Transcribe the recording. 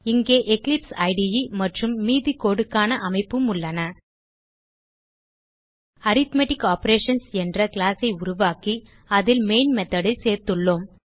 இங்கே எக்லிப்ஸ் இடே மற்றும் மீதி codeக்கான அமைப்பும் உள்ளன அரித்மெட்டிக் ஆப்பரேஷன்ஸ் என்ற கிளாஸ் ஐ உருவாக்கி அதில் மெயின் மெத்தோட் ஐ சேர்த்துள்ளோம்